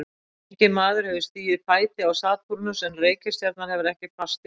Enginn maður hefur stigið fæti á Satúrnus en reikistjarnan hefur ekkert fast yfirborð.